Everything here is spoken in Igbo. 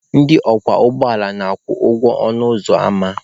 Ndị ọkwọ ụgbọala na-akwụ ụgwọ ọnụ ụzọ ama.